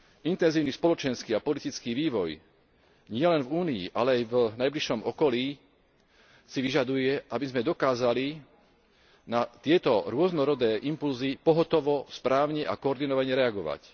Intenzívny spoločenský a politický vývoj nielen v Únii, ale aj v najbližšom okolí si vyžaduje, aby sme dokázali na tieto rôznorodé impulzy pohotovo, správne a koordinovane reagovať.